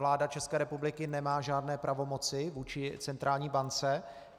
Vláda České republiky nemá žádné pravomoci vůči centrální bance.